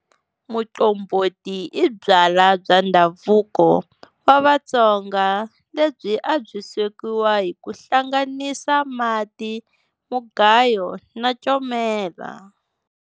Muqombhoti i byalwa bya ndhavuko wa Vatsonga lebyi a byi swekiwa hi ku hlanganisa mati, mugayo na comela.